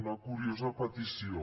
una curiosa petició